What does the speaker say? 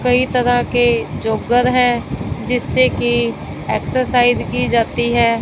कई तरह के जॉगर हैं जिससे की एक्सरसाइज की जाती है।